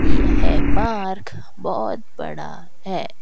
यह पार्क बहोत बड़ा है।